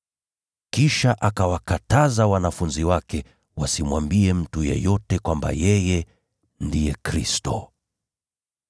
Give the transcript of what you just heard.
Kisha akawakataza wanafunzi wake wasimwambie mtu yeyote kwamba yeye ndiye Kristo.